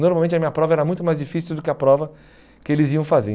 Normalmente a minha prova era muito mais difícil do que a prova que eles iam fazer.